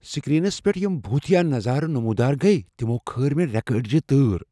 Screens پٖیٹھ یِم بھوُتیا نظارٕ نموُدار گیہ تِمو كھٲر مے٘ ریكہٕ اڈجہِ تٲر ۔